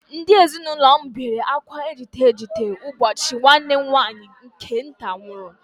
Ndị ezinụlọ m niile bere akwa ejite ejite ụbọchị nwanne m nwaanyị nke nta nwụrụ